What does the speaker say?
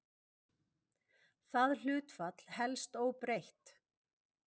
Það hlutfall helst óbreytt.